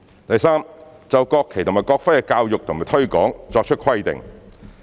第三，就國旗及國徽的教育和推廣作出規定。